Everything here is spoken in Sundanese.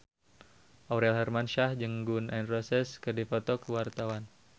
Aurel Hermansyah jeung Gun N Roses keur dipoto ku wartawan